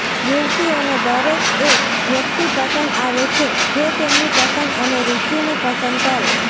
યુવતીઓને દરેક એ વ્યક્તિ પસંદ આવે છે જે તેમની પસંદ અને રૂચિને પસંદ કરે